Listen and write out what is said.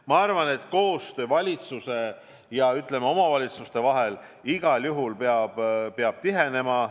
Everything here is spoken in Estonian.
Ma arvan, et koostöö valitsuse ja omavalitsuste vahel igal juhul peab tihenema.